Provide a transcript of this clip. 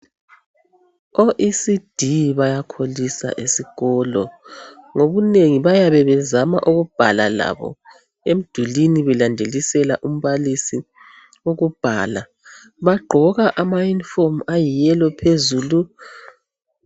O-ECD bayakholisa esikolo. Ngobunengi. bayabe bezama ukubhala labo. Emdulwini belandelisela umbalisi ukubhala. Bagqoka ama uniform ayi yellow phezulu.